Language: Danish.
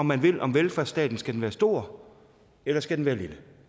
man vil om velfærdsstaten skal den være stor eller skal den være lille